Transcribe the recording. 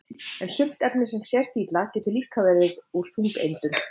en sumt efni sem sést illa getur líka verið úr þungeindum